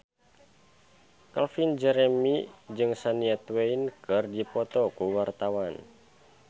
Calvin Jeremy jeung Shania Twain keur dipoto ku wartawan